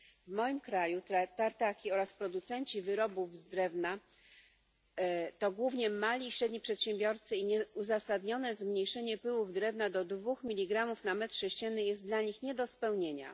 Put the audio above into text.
W moim kraju tartaki oraz producenci wyrobów z drewna to głównie mali i średni przedsiębiorcy i nieuzasadnione zmniejszenie pyłów drewna do dwóch miligramów na metr sześcienny jest dla nich nie do spełnienia.